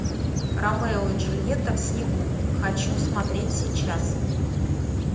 ромео и джульетта в снегу хочу смотреть сейчас